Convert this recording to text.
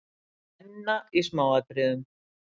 Benna í smáatriðum.